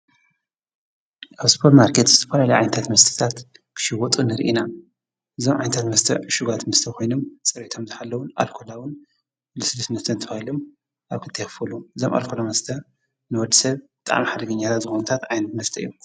ኣብ ስጶር ማርከት ዝተኳልልይ ዓይንታት መስትታት ክሽይወጡ ንርኢና ዞም ዓይንታት መስተዕ ሽጓት ምስተ ኾይኑም ጸርቶም ዝሓለዉን ኣልኮላውን ልስልስምስተ እንተውኢሉም ኣብ ክልቴኽፉሉ ዘም ኣልኮሎሙስተ ንወድ ሰብ ጥኣም ሓደግኛታ ዘበኑታት ኣይን መስጠ እዮም።